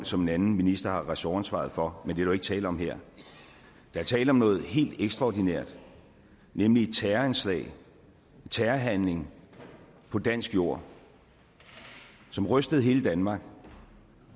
som en anden minister har ressortansvaret for men der jo ikke tale om her der er tale om noget helt ekstraordinært nemlig et terroranslag en terrorhandling på dansk jord som rystede hele danmark